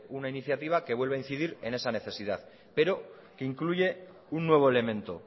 una iniciativa que vuelve a incidir en esa necesidad pero que incluye un nuevo elemento